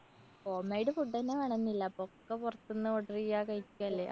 homemade food ന്നെ വേണന്നില്ല ഇപ്പോ ഒക്കെ പൊറത്തുന്ന് order ചെയ്യാ കഴിക്കല്ലേ?